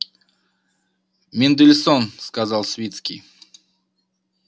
мендельсон сказал свицкий